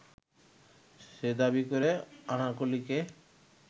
সে দাবি করে আনারকলিকে